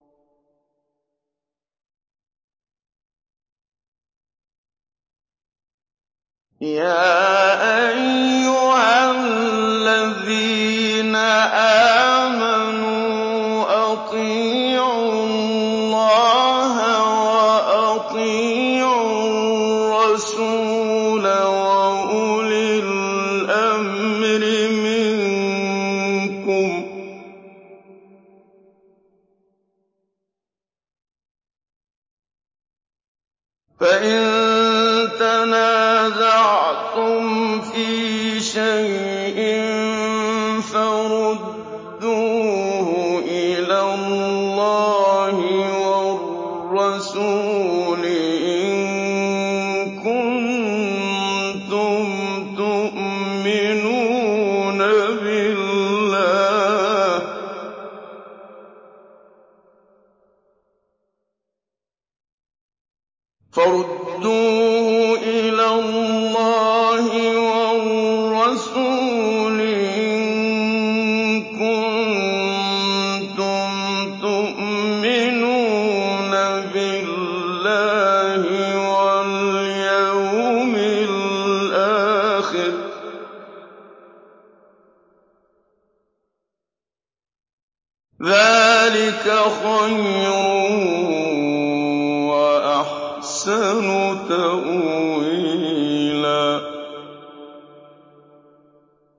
يَا أَيُّهَا الَّذِينَ آمَنُوا أَطِيعُوا اللَّهَ وَأَطِيعُوا الرَّسُولَ وَأُولِي الْأَمْرِ مِنكُمْ ۖ فَإِن تَنَازَعْتُمْ فِي شَيْءٍ فَرُدُّوهُ إِلَى اللَّهِ وَالرَّسُولِ إِن كُنتُمْ تُؤْمِنُونَ بِاللَّهِ وَالْيَوْمِ الْآخِرِ ۚ ذَٰلِكَ خَيْرٌ وَأَحْسَنُ تَأْوِيلًا